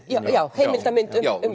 já